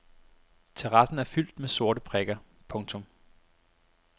Terrassen er fyldt med sorte prikker. punktum